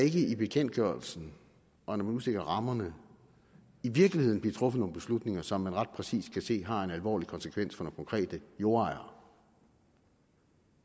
i bekendtgørelsen og når man udstikker rammerne i virkeligheden bliver truffet nogle beslutninger som man ret præcist kan se har en alvorlig konsekvens for konkrete jordejere